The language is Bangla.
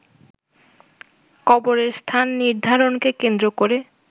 কবরের স্থান নির্ধারণকে কেন্দ্র করে